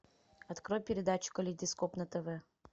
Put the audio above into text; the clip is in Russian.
открой передачу калейдоскоп на тв